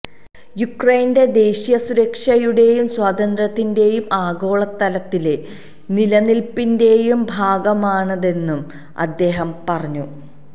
യുക്രൈന്റെ ദേശീയ സുരക്ഷയുടെയും സ്വാതന്ത്ര്യത്തിന്റെയും ആഗോളതലത്തിലെ നിലനില്പ്പിന്റെയും ഭാഗമാണിതെന്നും അദ്ദേഹം പറഞ്ഞു